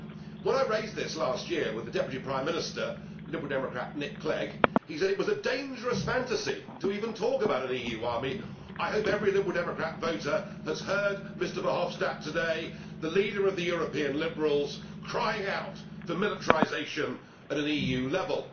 When I raised this last year with the Deputy Prime Minister, Liberal Democrat Nick Clegg, he said it was a dangerous fantasy' to even talk about an EU army. I hope every Liberal Democrat voter has heard Mr Verhofstadt today, the leader of the European Liberals, crying out for militarisation at an EU level.